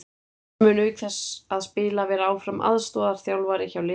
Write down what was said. Hann mun auk þess að spila vera áfram aðstoðarþjálfari hjá liðinu.